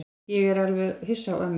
Ég er alveg hissa á ömmu.